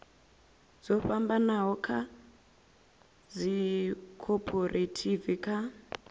dzo fhambanaho dza dzikhophorethivi kha